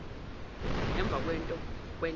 emvakwenta